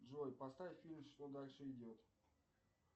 джой поставь фильм что дальше идет